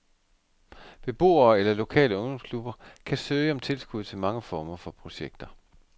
Beboere eller lokale ungdomsklubber kan søge om tilskud til mange former for projekter.